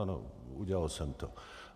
Ano, udělal jsem to.